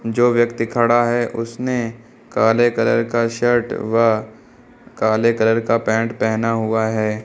जो व्यक्ति खड़ा है उसने काले कलर का शर्ट व काले कलर का पैंट पहना हुआ है।